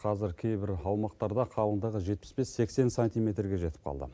қазір кейбір аумақтарда қалыңдығы жетпіс бес сексен сантиметрге жетіп қалды